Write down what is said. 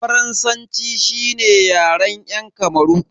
Faransanci shine Yaren yan Kamaru.